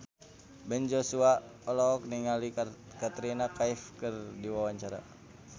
Ben Joshua olohok ningali Katrina Kaif keur diwawancara